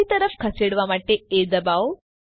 ડાબી તરફ ખસેડવા માટે એ દબાવો